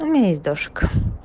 у меня есть дашка